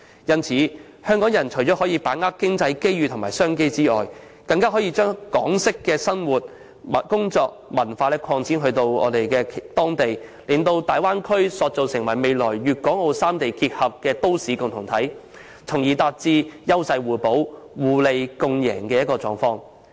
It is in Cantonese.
故此，港人除可把握經濟機遇及商機外，更可把港式生活、工作及文化擴展至當地，把大灣區塑造成未來粵港澳三地結合的都市共同體，從而達致優勢互補、互利共贏的目的。